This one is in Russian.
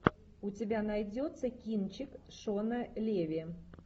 у тебя найдется кинчик шона леви